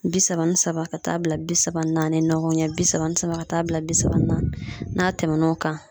Bi saba ni saba ka taa bila bi saba ni naani ɲɔgɔn ɲɛ bi saba ni saba ka taa bila bi saba na n'a tɛmɛn'o kan